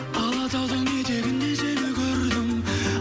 алатаудың етегінде сені көрдім